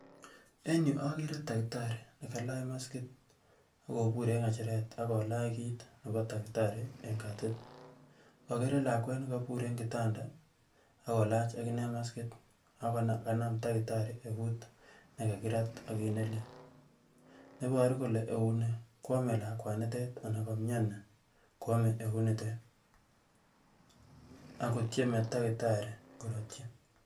en yuu akere takitari nekalach maskit akobur eng ngecheret akolach kiit nebo takitari en katit akere lakwet nekobur eng kitanda akolach akinee maskit akokanam takitari eut nekakirat ak kiit nelel neboru kole eunii kwome lakwnitet anan komyoni kwome eutnitet akotyemi takitari korutyi